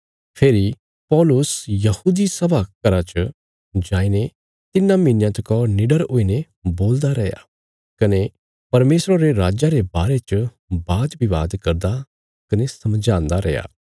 फेरी पौलुस यहूदी सभा घर च जाईने तिन्नां महीनयां तका निडर हुईने बोलदा रैया कने परमेशरा रे राज्जा रे बारे च विवाद करदा कने समझांदा रैया